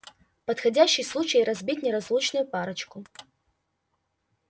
подходящий случай разбить неразлучную парочку